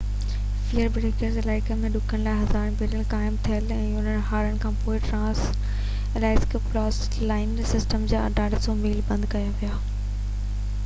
fair Banks Alaska جي ڏکڻ کان هزارين بيرل خام تيل جي هارڻ کان پوءِ ٽرانس-الاسڪا پائپ لائن سسٽم جا 800 ميل بند ڪيا ويا